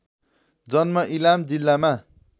जन्म इलाम जिल्लामा